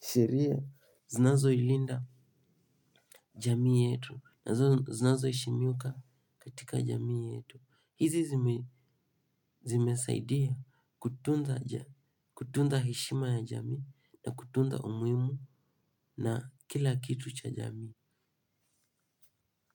sheria zinazo ilinda jamii yetu na zinazo heshimika katika jamii yetu. Hizi zimesaidia kutunza heshima ya jamii na kutunza umuhimu na kila kitu cha jamii.